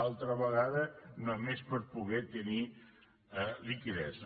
altra vegada només per poder tenir liquiditat